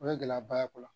O ye gɛlɛyaba ye o la